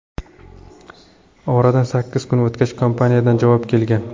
Oradan sakkiz kun o‘tgach, kompaniyadan javob kelgan.